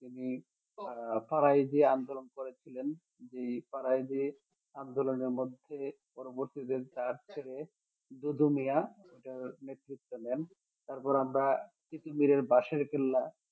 তিনি আহ ফরাজি আন্দলন করেছিলেন যে ফরাজি আন্দোলনের মধ্যে পরবর্তী দুদু মিয়াঁ এটার নেতৃত্ব দেন তারপর আমরা তিতুমীরের বাঁশের কেল্লা